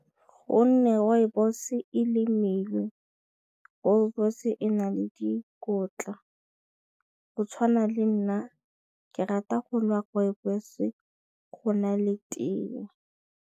Go nne rooibos-e lemilwe rooibos e na le dikotla go tshwana le nna ke rata go nwa rooibos go na le tee.